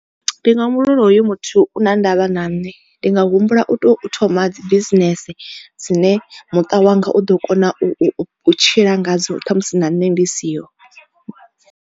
Ndi nga humbula uri hoyo muthu u na ndavha na nṋe ndi nga humbula u to thoma dzi business dzine muṱa wanga u ḓo kona u tshila ngadzo khamusi na nne ndi siho.